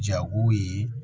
Jago ye